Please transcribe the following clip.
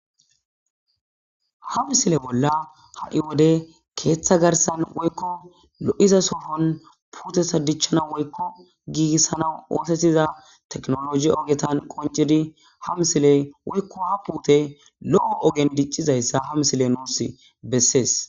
ha misile bolla ha7i wode keeththa garsan woykko lo7iza sofon puute sa dichchana woykko giigissana oosettiza teknologi ogetan qoncidi ha misile woykko ha puute lo7o ogen diccizayssa ha misile nuus bessees